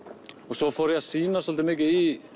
svo fór ég að sýna svolítið mikið í